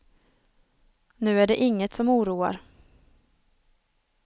Nu är det inget som oroar.